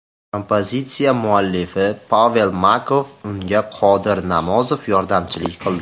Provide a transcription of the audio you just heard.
Kompozitsiya muallifi Pavel Makarov, unga Qodir Namozov yordamchilik qildi.